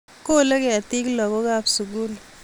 Kole ketik lagook kab sugul